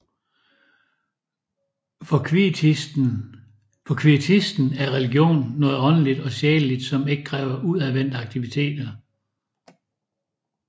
For kvietisten er religionen noget åndeligt og sjæleligt som ikke kræver udadvendte aktiviteter